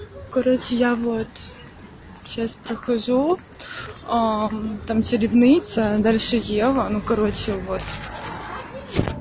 короче я вот сейчас прохожу там соревнуются дальше дела ну короче вот